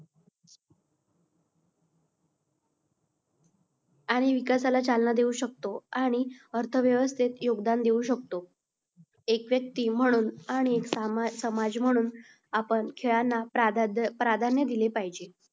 आणि विकासाला चालना देऊ शकतो. आणि अर्थव्यवस्थेत योगदान देऊ शकतो. एक व्यक्ती म्हणून आणि एक समाज म्हणून आपण खेळांना प्राधान्य दिले पाहिजे.